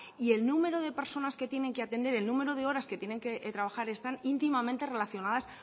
y el número de personas que tienen que atender el número de horas que tienen que trabajar están íntimamente relacionadas